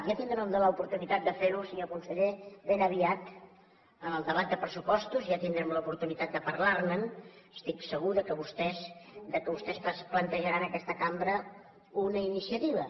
ja tindrem l’oportunitat de fer ho senyor conseller ben aviat en el debat de pressupostos ja tindrem l’oportunitat de parlarne estic segur que vostès plantejaran a aquesta cambra una iniciativa